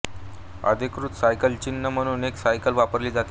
अधिकृत सायकल चिन्ह म्हणून एक सायकल वापरली जाते